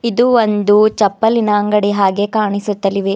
ಇದು ಒಂದು ಚಪ್ಪಲಿನ ಅಂಗಡಿ ಹಾಗೆ ಕಾಣಿಸುತ್ತಲಿವೆ.